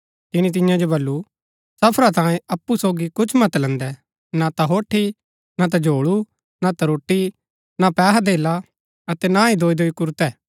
तिनी तियां जो वल्‍लु सफरा तांयें अप्पु सोगी कुछ मत लैन्दै ना ता होठी ना ता झोल्ळू ना ता रोटी ना पैहाधेला अतै ना ही दोईदोई कुरतै